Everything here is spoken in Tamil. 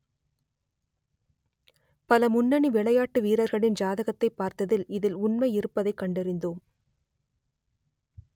பல முன்னணி விளையாட்டு வீரர்களின் ஜாதகத்தைப் பார்த்ததில் இதில் உண்மை இருப்பதை கண்டறிந்தோம்